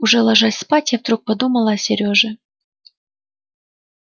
уже ложась спать я вдруг подумала о сереже